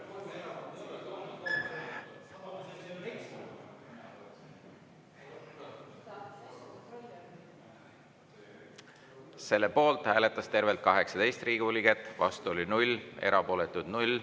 Selle poolt hääletas tervelt 18 Riigikogu liiget, vastu oli 0, erapooletuid 0.